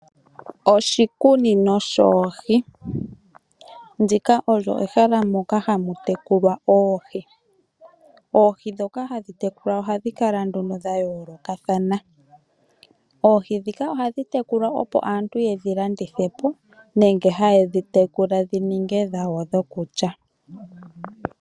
Oshikunino shoohi, ndika olyo ehala moka ha mu tekulwa oohi. Oohi ndhoka ha dhi tekulwa oha dhi kala nduno dha yoolokathana. Oohi ndhika oha dhi tekulwa, opo aantu ye dhi landithe po, nenge dhi tekula dhi ninge dhawo dhoku kya.